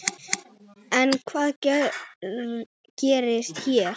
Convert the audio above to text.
En hvað gerist hér?